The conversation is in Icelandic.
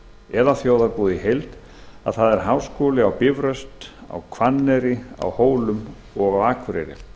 eða þjóðarbúið í heild að háskólar eru á bifröst hvanneyri hólum og akureyri